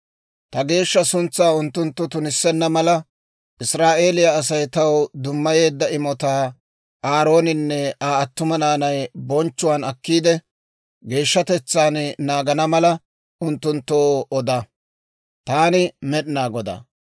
«Ta geeshsha suntsaa unttunttu tunissenna mala, Israa'eeliyaa Asay taw dummayeedda imotaa Aarooninne Aa attuma naanay bonchchuwaan akkiide, geeshshatetsaan naagana mala, unttunttoo oda. Taani Med'inaa Godaa.